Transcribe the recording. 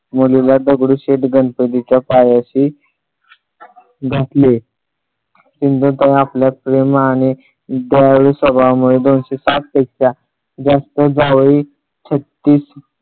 मुलीला दगडूशेठ गणपतीच्या पायाशी घातले. सिंधुताई आपल्या प्रेम आणि दयाळू स्वभावामुळे जास्त जावे छत्तीस